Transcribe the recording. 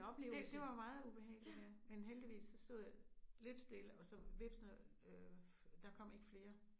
Det det var meget ubehageligt ja men heldigvis så stod jeg lidt stille og så hvepsene øh der kom ikke flere